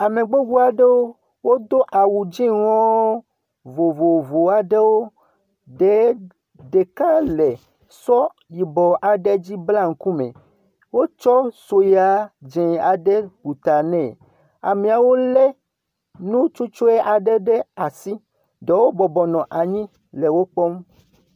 Ame gbogbo aɖewo do awu dzɛ̃wo vovovo aeɖwo ɖeka le sɔ yibɔ aɖe dzi blam ŋku me wotsɔ sue dzɛ̃ aɖe bla ta nɛ, ameawo tsɔ nu tsutsɔ aɖe ɖe asi ɖewo bɔbɔnɔ anyi le wo kpɔm.